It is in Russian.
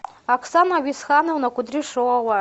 оксана висхановна кудряшова